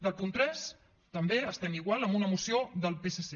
del punt tres també estem igual amb una moció del psc